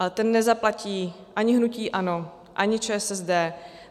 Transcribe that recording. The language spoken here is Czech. Ale ten nezaplatí ani hnutí ANO, ani ČSSD.